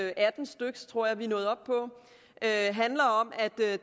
atten styk tror jeg vi er nået op på handler om at